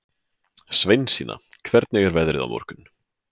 Sveinsína, hvernig er veðrið á morgun?